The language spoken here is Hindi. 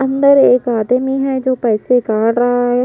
अंदर एक आदमी है जो पैसे काट रहा है।